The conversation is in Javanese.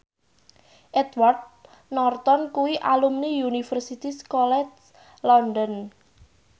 Edward Norton kuwi alumni Universitas College London